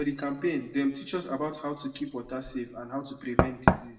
for the campaign dem teach us about how to keep water safe and how to prevent disease